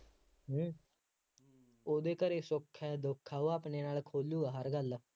ਹੂੰ ਉਹਦੇ ਘਰੇ ਸੁੱਖ ਹੈ ਦੁੱਖ ਹੈ ਉਹ ਆਪਣੇ ਨਾਲ ਖੋਲੂਗਾ ਹਰ ਗੱਲ,